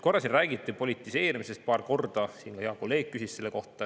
Korra räägiti siin politiseerimisest, paar korda ka hea kolleeg küsis selle kohta.